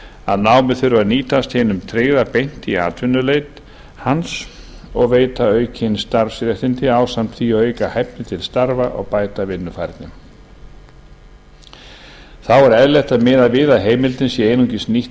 að námið þurfi að nýtast hinum tryggða beint í atvinnuleit hans og veita aukin starfsréttindi ásamt því að auka hæfni til starfa og bæta vinnufærni þá er eðlilegt að miða við að heimildin sé einungis nýtt